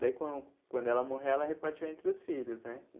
Daí, quan quando ela morreu, ela repartiu entre os filhos, né?